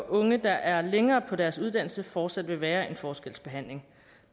unge der er længere på deres uddannelse fortsat vil være en forskelsbehandling